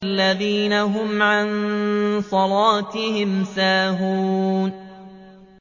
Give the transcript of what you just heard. الَّذِينَ هُمْ عَن صَلَاتِهِمْ سَاهُونَ